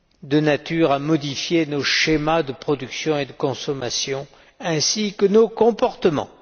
de nature à modifier nos schémas de production et de consommation, ainsi que nos comportements.